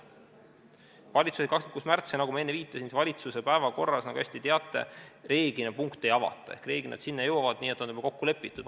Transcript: Valitsuses oli see 26. märtsil ja nagu ma enne viitasin, siis valitsuse päevakorras, nagu te hästi teate, reeglina punkte ei avata ehk nad sinna jõuavad nii, et nad on juba kokku lepitud.